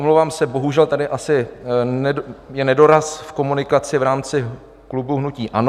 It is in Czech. Omlouvám se, bohužel tady asi je nedoraz v komunikaci v rámci klubu hnutí ANO.